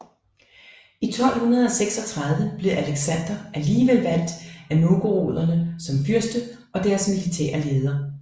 I 1236 blev Aleksandr alligevel valgt af novgoroderne som fyrste og deres militære leder